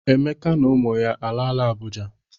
Emeka na ụmụ ya alaala Abụja?